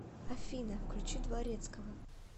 афина включи дворецкова